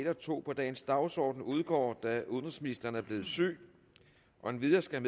en og to på dagens dagsorden udgår da udenrigsministeren er blevet syg endvidere skal